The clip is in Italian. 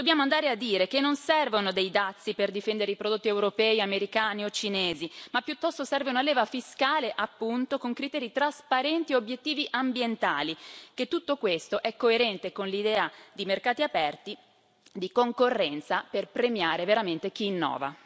E dobbiamo andare a dire che non servono dei dazi per difendere i prodotti europei, americani o cinesi ma piuttosto serve una leva fiscale con criteri trasparenti e obiettivi ambientali, che tutto questo è coerente con l'idea di mercati aperti e di concorrenza, per premiare veramente chi innova.